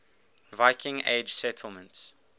viking age settlements